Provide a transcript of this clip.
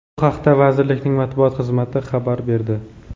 Bu haqda vazirlikning matbuot xizmati xabar berdi .